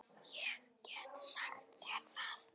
Ég get sagt þér það